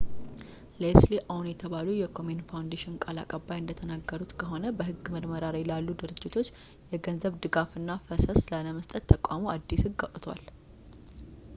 leslie aun የተባሉት የkomen foundation ቃል አቀባይ እንደተናገሩት ከሆነ በሕግ ምርመራ ላይ ላሉ ድርጅቶች የገንዘብ ድጋፍና ፈሰስ ላለመስጠት ተቋሙ አዲስ ሕግ አውጥቷል